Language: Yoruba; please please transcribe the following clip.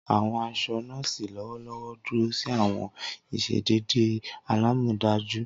Awọn aṣọ nọ́ọ̀sì lọwọlọwọ duro si awọn iṣedede alamọdaju.